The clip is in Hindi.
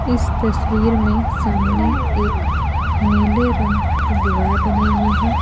इस तस्वीर में सामने एक नीले रंग की दीवार बनी हुई है।